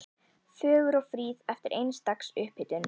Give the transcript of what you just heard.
Fögur og fríð eftir eins dags upphitun.